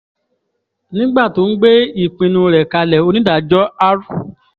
nígbà tó ń gbé ìpinnu rẹ̀ kalẹ̀ onídàájọ́ r